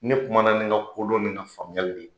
Ne kuma na ni n ka kodɔn ni n ka faamuyali le ye.